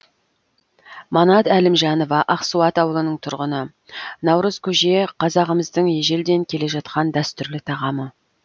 манат әлімжанова ақсуат ауылының тұрғыны наурыз көже қазағымыздың ежелден келе жатқан дәстүрлі тағамы